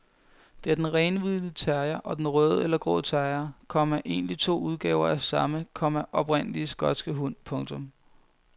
Det er den renhvide terrier og den røde eller grå terrier, komma egentlig to udgaver af samme, komma oprindelig skotske hund. punktum